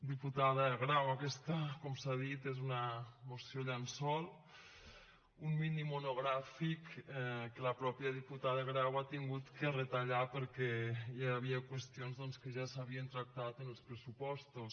diputada grau aquesta com s’ha dit és una moció llençol un minimonogràfic que la mateixa diputada grau ha hagut de retallar perquè hi havia qüestions doncs que ja s’havien tractat en els pressupostos